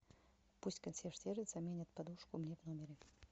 пусть консьерж сервис заменит подушку мне в номере